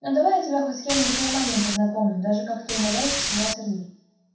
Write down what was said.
ну давай я тебя хоть с кем-нибудь нормальным познакомлю даже как-то умоляюще сказал сергей